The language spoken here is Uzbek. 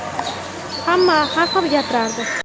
Hamma har xil gapirardi.